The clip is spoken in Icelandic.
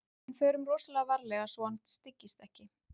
En förum rosalega varlega svo að hann styggist ekki.